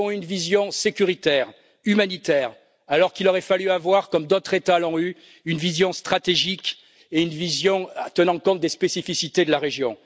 Nous avons eu une vision sécuritaire, humanitaire, alors qu'il aurait fallu avoir, comme d'autres États l'ont eue, une vision stratégique et une vision tenant compte des spécificités de la région.